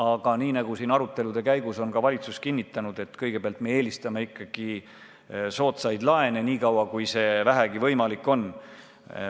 Aga nagu siin arutelude käigus on ka valitsus kinnitanud, kõigepealt me eelistame ikkagi soodsaid laene, nii kaua kui see vähegi võimalik on.